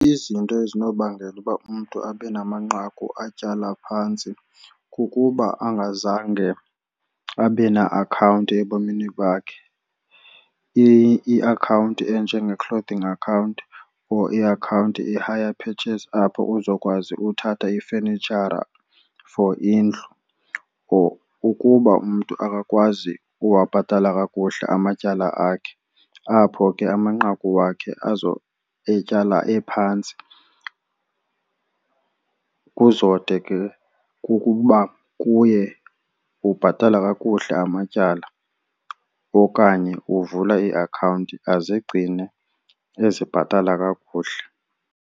Izinto ezinobangela uba umntu abe namanqaku atyala phantsi kukuba angazange abe na-akhawunti ebomini bakhe. Iakhawunti enjenge-clothing account or iakhawunti i-higher purchase apho uzokwazi uthatha ifenitshara for indlu. Or ukuba umntu akakwazi uwabhatala kakuhle amatyala akhe apho ke amanqaku wakhe etyala ephantsi kuzode ke kukuba kuye ubhatala kakuhle amatyala okanye uvula iiakhawunti azigcine ezibhatala kakuhle.